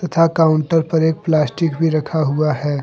तथा काउंटर पर एक प्लास्टिक भी रखा हुआ है।